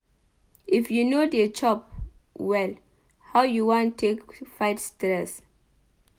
If you no dey chop well how you wan take fight stress?